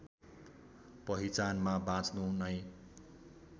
पहिचानमा बाँच्नु नै